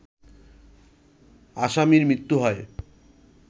আসামির মৃত্যু হয়